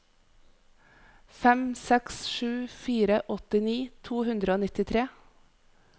fem seks sju fire åttini to hundre og nittitre